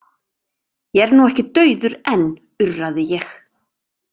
Ég er nú ekki dauður enn, urraði ég.